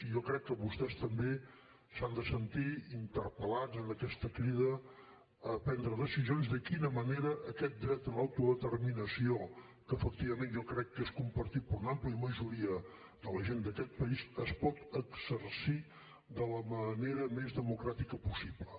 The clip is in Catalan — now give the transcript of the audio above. i jo crec que vostès també s’han de sentir interpel·lats en aquesta crida a prendre decisions de quina manera aquest dret a l’autodeterminació que efectivament jo crec que és compartit per una àmplia majoria de la gent d’aquest país es pot exercir de la manera més democràtica possible